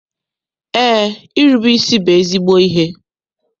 Eé, irube isi bụ ezigbo ihe.